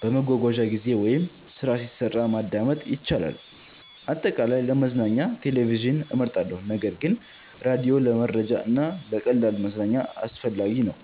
በመጓጓዣ ጊዜ ወይም ስራ ሲሰራ ማዳመጥ ይቻላል። አጠቃላይ፣ ለመዝናኛ ቴሌቪዥን እመርጣለሁ ነገር ግን ራዲዮ ለመረጃ እና ለቀላል መዝናኛ አስፈላጊ ነው።